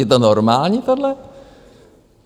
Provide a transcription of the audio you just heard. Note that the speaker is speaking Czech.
Je to normální, tohle?